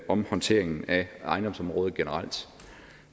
om håndteringen af ejendomsområdet generelt